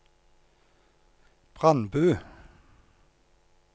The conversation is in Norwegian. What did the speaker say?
Brandbu